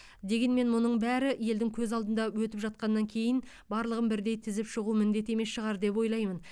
дегенмен мұның бәрі елдің көз алдында өтіп жатқаннан кейін барлығын бірдей тізіп шығу міндет емес шығар деп ойлаймын